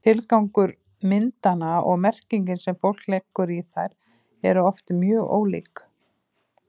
Tilgangur myndanna og merkingin sem fólk leggur í þær eru oft mjög ólík.